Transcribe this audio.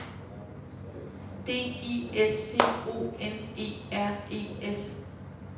D I S P O N E R E S